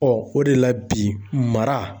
o de la bi mara